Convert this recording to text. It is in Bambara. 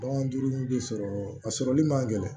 Bagan duuru bi sɔrɔ a sɔrɔli man gɛlɛn